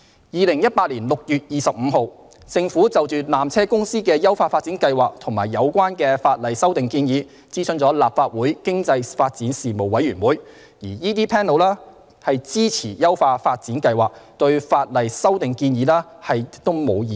2018年6月25日，政府就纜車公司的優化發展計劃及有關的法例修訂建議，諮詢立法會經濟發展事務委員會，該委員會支持優化發展計劃，對法例修訂建議亦無異議。